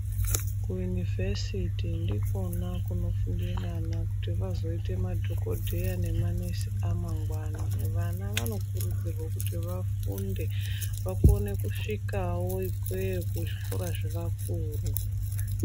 Kuyunivhesiti ndikona kunofunde vana kuti vazoite madhogodheya nemanesi amangwani vana vanokurudzirwa kuti vafunde vakone kusvikawo ikweyo kuzvikora zvevakuru.